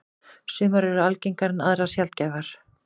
Sumar eru algengar en aðrar sjaldgæfari.